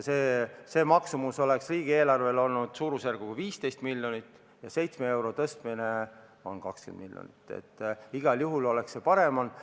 Selle maksumus riigieelarvele oleks olnud suurusjärgus 15 miljonit ja 7 euro võrra tõstmine läheb maksma 20 miljonit, nii et igal juhul oleks see parem olnud.